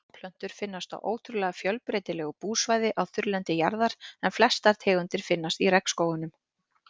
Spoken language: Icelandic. Blómplöntur finnast á ótrúlega fjölbreytilegu búsvæði á þurrlendi jarðar en flestar tegundir finnast í regnskógunum.